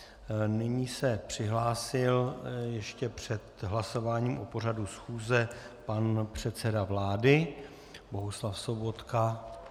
Nyní se přihlásil ještě před hlasováním o pořadu schůze pan předseda vlády Bohuslav Sobotka.